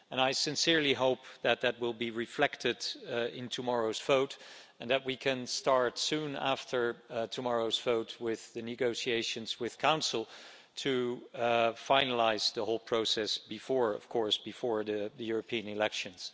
I sincerely hope that that will be reflected in tomorrow's vote, and that we can start soon after tomorrow's vote with the negotiations with the Council to finalise the whole process before the European elections.